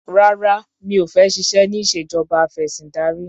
Rárá mi ò fẹ́ ṣiṣẹ́ ní ìṣèjọba afẹ̀sìndarí.